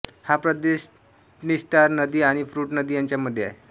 हा प्रदेश द्नीस्टर नदी आणि प्रुट नदी यांच्या मध्ये आहे